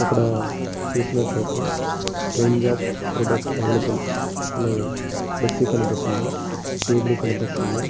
ఇక్కడ చూసినట్లయితే range of product available అని ఫ్లెక్సీ కనిపిస్తుంది. టీవీ కనిపిస్తుంది.